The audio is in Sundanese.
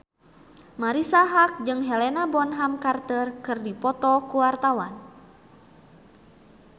Marisa Haque jeung Helena Bonham Carter keur dipoto ku wartawan